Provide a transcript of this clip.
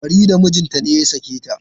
Farida mijinta ne ya sake ta.